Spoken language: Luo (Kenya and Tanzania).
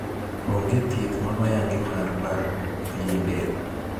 Ong'e thieth ma oyangi mar baruok pien del.